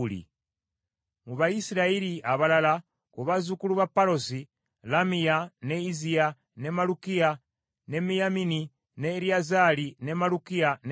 Mu Bayisirayiri abalala: Ku bazzukulu ba Palosi: Lamiya, ne Izziya, ne Malukiya, ne Miyamini, ne Eriyazaali, ne Malukiya ne Benaya.